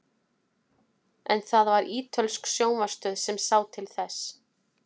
en það var ítölsk sjónvarpsstöð sem sá til þess